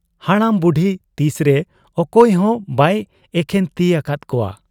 ᱵᱚᱰᱟᱢ ᱵᱩᱰᱷᱤ ᱛᱤᱥᱨᱮ ᱚᱠᱚᱭ ᱦᱚᱸ ᱵᱟᱭ ᱮᱠᱷᱮᱱ ᱛᱤ ᱟᱠᱟᱫ ᱠᱚᱣᱟ ᱾